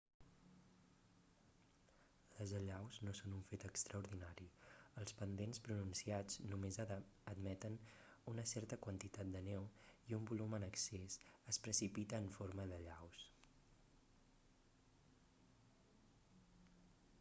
les allaus no són un fet extraordinari els pendents pronunciats només admeten una certa quantitat de neu i un volum en excés es precipita en forma d'allaus